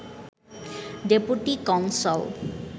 deputy consul